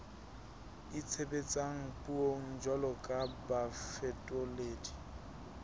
itshebetsang puong jwalo ka bafetoledi